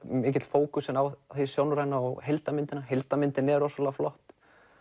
fókusinn mikið á hið sjónræna og heildarmyndina heildarmyndin er rosalega flott